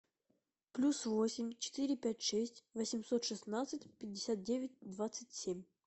плюс восемь четыре пять шесть восемьсот шестнадцать пятьдесят девять двадцать семь